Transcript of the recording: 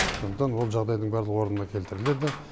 сондықтан ол жағдайдың барлығы орнына келтіріледі